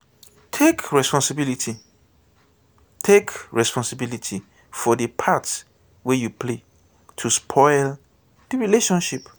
take responsibility take responsibility for di part wey you play to spoil di relationship